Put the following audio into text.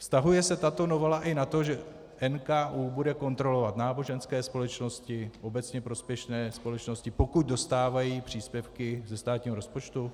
Vztahuje se tato novela i na to, že NKÚ bude kontrolovat náboženské společnosti, obecně prospěšné společnosti, pokud dostávají příspěvky ze státního rozpočtu?